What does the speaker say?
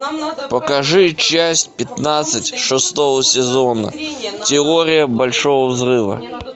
покажи часть пятнадцать шестого сезона теория большого взрыва